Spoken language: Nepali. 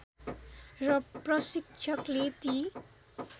र प्रशिक्षकले ती